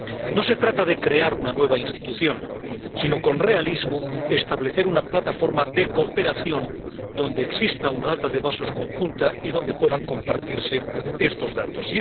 No se trata de crear una nueva institución sino, con realismo, de establecer una plataforma de cooperación donde exista una base de datos conjunta y donde puedan compartirse estos datos.